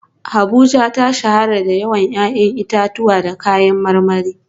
Abuja ta shahara da yawan 'ya'yan itatuwa da kayan marmari